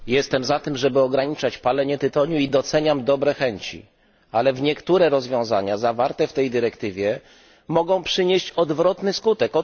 Jestem za tym, żeby ograniczać palenie tytoniu i doceniam dobre chęci, ale niektóre rozwiązania zawarte w dyrektywie mogą przynieść odwrotny skutek.